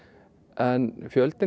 en fjöldinn